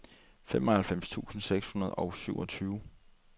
nioghalvfems tusind seks hundrede og syvogtyve